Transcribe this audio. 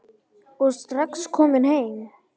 og strax kominn nýr.